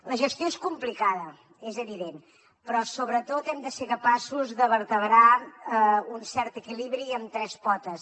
la gestió és complicada és evident però sobretot hem de ser capaços de vertebrar un cert equilibri amb tres potes